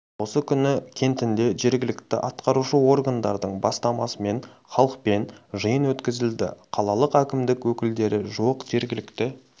осы күні кентінде жергілікті атқарушы органдардың бастамасымен халықпен жиын өткізілді қалалық әкімдік өкілдері жуық жергілікті